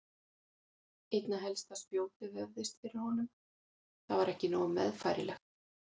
Einna helst að spjótið vefðist fyrir honum, það var ekki nógu meðfærilegt.